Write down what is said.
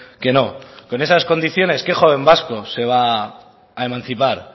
que no con esas condiciones qué joven vasco se va a emancipar